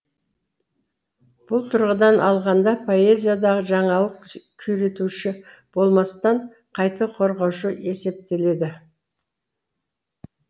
бұл тұрғыдан алғанда поэзиядағы жаңалық күйретуші болмастан қайта қорғаушы есептеледі